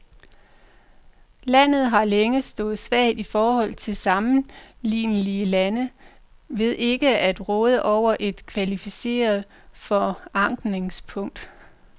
Landet har længe stået svagt i forhold til sammenlignelige lande ved ikke at råde over et kvalificeret forankringspunkt.